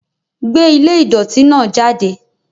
Gbé ilé ìdọ̀tí náà jáde.